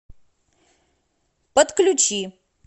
подключи